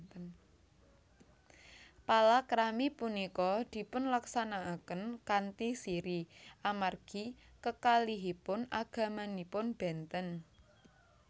Palakrami punika dipunlaksanakaken kanthi sirri amargi kekalihipun agamanipun benten